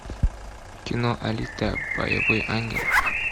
кино алита боевой ангел